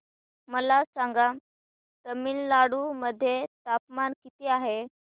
मला सांगा तमिळनाडू मध्ये तापमान किती आहे